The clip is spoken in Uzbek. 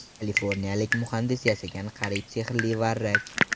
Kaliforniyalik muhandis yasagan qariyb sehrli varrak.